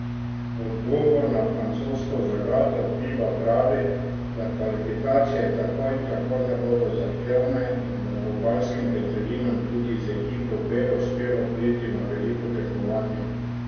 V odgovor na francosko zagato Fiba pravi, da kvalifikacije tako in tako ne bodo zahtevne in da bo galskim petelinom tudi z ekipo B uspelo priti na veliko tekmovanje.